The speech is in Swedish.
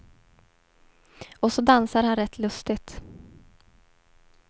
Och så dansar han rätt lustigt.